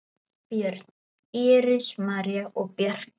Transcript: Börn: Íris, María og Bjarki.